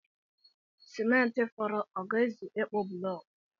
Simenti fọrọ ọ ga-ezu ịkpụ bụlọọkụ?